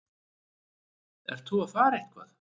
Ert þú að fara eitthvað?